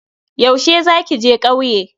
Yaushe za ki je kauye?